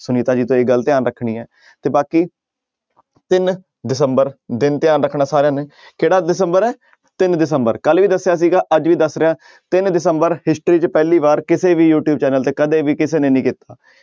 ਸੁਨੀਤਾ ਜੀ ਤੁਸੀ ਏਹ ਗੱਲ ਧਿਆਨ ਰੱਖਣੀ ਹੈ ਤੇ ਬਾਕੀ ਤਿੰਨ ਦਸੰਬਰ ਦਿਨ ਧਿਆਨ ਰੱਖਣਾ ਸਾਰਿਆਂ ਨੇ ਕਿਹੜਾ ਦਸੰਬਰ ਹੈ ਤਿੰਨ ਦਸੰਬਰ ਕੱਲ੍ਹ ਵੀ ਦੱਸਿਆ ਸੀਗਾ ਅੱਜ ਵੀ ਦੱਸ ਰਿਹਾਂ ਤਿੰਨ ਦਸੰਬਰ history 'ਚ ਪਹਿਲੀ ਵਾਰ ਕਿਸੇ ਵੀ ਯੂਟਿਊਬ ਚੈਨਲ ਤੇ ਕਦੇ ਵੀ ਕਿਸੇ ਨੇ ਨਹੀਂ ਕੀਤਾ।